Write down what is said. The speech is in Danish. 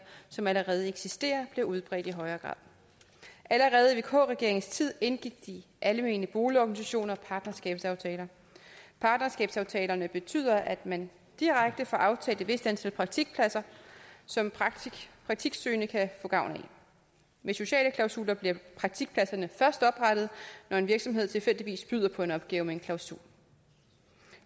som allerede eksisterer bliver mere udbredte allerede i vk regeringens tid indgik de almene boligorganisationer partnerskabsaftaler partnerskabsaftalerne betyder at man direkte får aftalt et vist antal praktikpladser som praktiksøgende kan få gavn af med sociale klausuler bliver praktikpladserne først oprettet når en virksomhed tilfældigvis byder på en opgave med en klausul